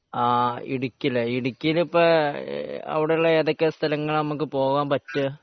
ആഹ് ഇടുക്കിയല്ലേ ഇടുക്കിയിൽ ഇപ്പൊ അവിടുള്ള സ്ഥലങ്ങളാണ് നമ്മക്ക് പോകാൻ പറ്റുക